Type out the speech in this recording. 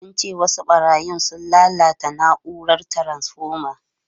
Sun ce wasu barayin sun lalata na’urar taransfoma.